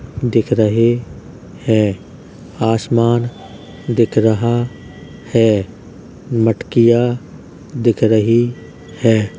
दिख रहे हैं आसमान दिख रहा है मटकियाँ दिख रही हैं।